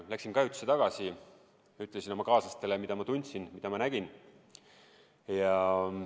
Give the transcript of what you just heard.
Läksin kajutisse tagasi, ütlesin kaaslastele, mida ma tundsin, mida ma nägin.